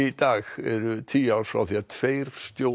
dag eru tíu ár frá því að tveir